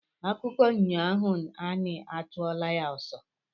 Akụkọ nyọ ahọ anị achụwa ya ọsọ